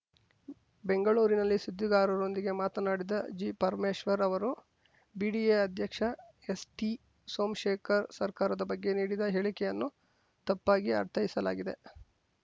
ಬೆಂಗಳೂರಿನಲ್ಲಿ ಸುದ್ದಿಗಾರರೊಂದಿಗೆ ಮಾತನಾಡಿದ ಜಿಪರಮೇಶ್ವರ್‌ ಅವರು ಬಿಡಿಎ ಅಧ್ಯಕ್ಷ ಎಸ್‌ಟಿ ಸೋಮ್ಶೇಖರ್‌ ಸರ್ಕಾರದ ಬಗ್ಗೆ ನೀಡಿದ ಹೇಳಿಕೆಯನ್ನು ತಪ್ಪಾಗಿ ಅರ್ಥೈಸಲಾಗಿದೆ